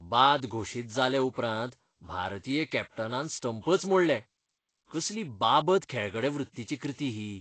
बाद घोशीत जाले उपरांत भारतीय कॅप्टनानान स्टंपच मोडले. कसली बाबत खेळगडेवृत्तीची कृती ही!